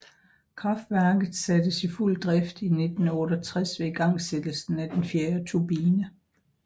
Kraftværket sattes i fuld drift i 1968 ved igangsættelsen af den fjerde turbine